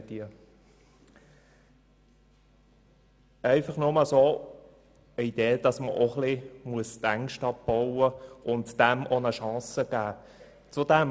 Dies einfach nur als Idee, dass man seine Ängste ein wenig abbauen müsste und der Sache eine Chance geben könnte.